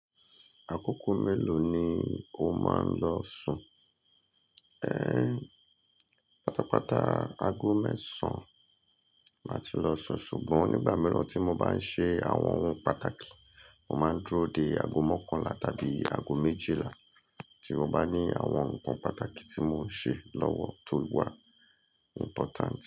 Àkókò mélòó ni o máa ń lọ sùn? Ẹ, pátápátá ago mẹ́sàn máa ti lọ sùn ṣùgbọ́n nígbà mìíràn tí mo bá ń ṣe àwọn ohun pàtàkì, mo máa ń dúró dé ago mọ́kànlá tàbí ago méjìlá tí mo bá ní àwọn nǹkan pàtàkì tí mò ń ṣe lọ́wọ́ tó wà important.